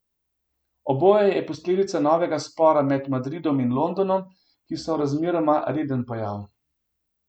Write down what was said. Oboje je posledica novega spora med Madridom in Londonom, ki so razmeroma reden pojav.